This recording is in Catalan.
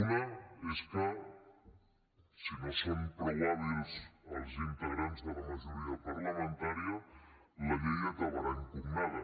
una és que si no són prou hàbils els integrants de la majoria parlamentària la llei acabarà impugnada